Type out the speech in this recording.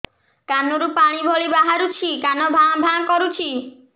କାନ ରୁ ପାଣି ଭଳି ବାହାରୁଛି କାନ ଭାଁ ଭାଁ କରୁଛି